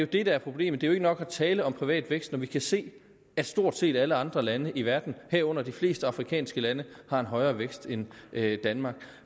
det der er problemet det er ikke nok at tale om privat vækst når vi kan se at stort set alle andre lande i verden herunder de fleste afrikanske lande har en højere vækst end danmark